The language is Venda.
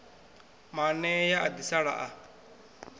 maanea a ḓi sala a